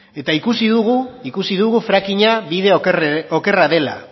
eta ikusi dugu ikusi dugu frackinga bide okerra dela